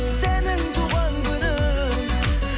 сенің туған күнің